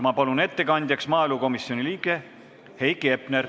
Ma palun ettekandjaks maaelukomisjoni liikme Heiki Hepneri.